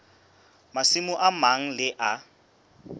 masimo a mang le a